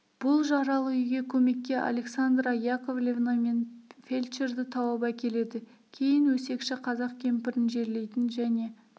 бұл жаралы үйге көмекке александра яковлевна мен фельдшерді тауып әкеледі кейін өсекші қазақ кемпірін жерлейтін және